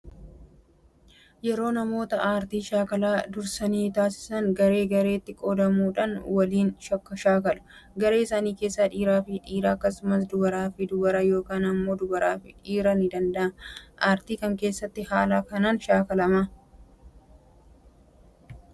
Yeroo namoota aartii shaakala dursanii taasisan garee gareetti qoodamuudhaan waliin shaakalu. Garee isaanii keessas dhiiraa fi dhiiraa akkasumas dubaraa fi dubara yookaan immoo dubaraa fi dhiirii ni danda'ama. Aartii kam keessatti haala kanaan shaakalamaa?